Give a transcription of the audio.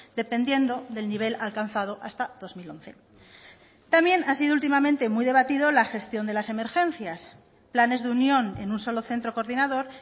dependiendo del nivel alcanzado hasta dos mil once también ha sido últimamente muy debatido la gestión de las emergencias planes de unión en un solo centro coordinador